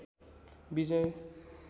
विजय